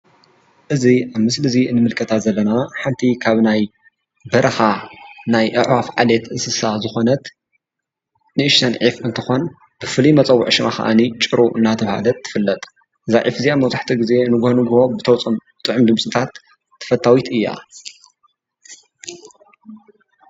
እዚ ኣብዚ ምስሊዚ ንምልከታ ዘለና ሓደ ካብ ናይ በረኻ ናይ ኣዕዋፍ ዓሌት እንስሳ ዝኾነት ንእሽተን ዒፍ እንትኾን ፍሉይ መፀውዒ ሽማ ኸኣኒ ጭሩቕ እናተብሃለት ትፍለጥ እዛ ዑፍ እዚኣ መብዛሕትኡ ጊዜ ንጉሆ ንጉሆ ብተውፅኦም ጥዑም ድምፅታት ተፈታዊት እያ።